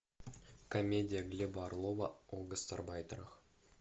комедия глеба орлова о гастарбайтерах